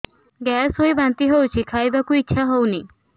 gas ହୋଇ ବାନ୍ତି ହଉଛି ଖାଇବାକୁ ଇଚ୍ଛା ହଉନି